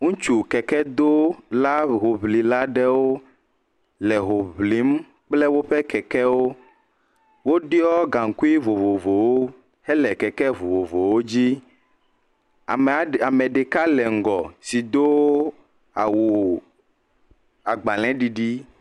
ŋutsu kekedola, hoŋlila aɖewo le ho ŋlim kple woƒe kekewo. Woɖiɔ gaŋkui vovovowo hele keke vovovowo dzi. Ame aɖee, ame ɖeka le ŋgɔ si doo awu agbalẽɖiɖi.